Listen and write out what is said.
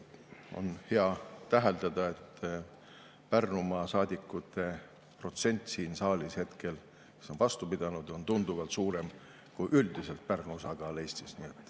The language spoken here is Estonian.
On hea täheldada, et Pärnumaa saadikute protsent siin saalis on vastu pidanud, on tunduvalt suurem kui üldiselt Pärnu osakaal Eestis.